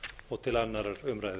og til annarrar umræðu